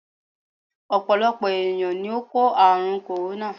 Ọ̀pọ̀lọpọ̀ ènìyàn ni ó kò àrùn "corona"